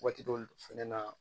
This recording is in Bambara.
Waati dɔw fɛnɛ na